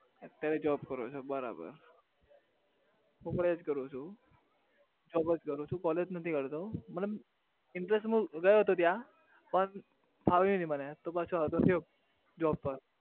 અત્યારે job કરો છો બરાબર હું પણ એ જ કરું છું job જ કરું છું college નથી કરતો મતલબ in case હું ગયો હતો ત્યાં પણ ફાવ્યું નહિ મને તો પાછો આવતો રહ્યો job પર